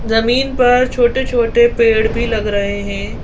जमीन पर छोटे-छोटे पेड़ भी लग रहे हैं।